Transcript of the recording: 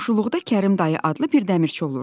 Qonşuluqda Kərim dayı adlı bir dəmirçi olurdu.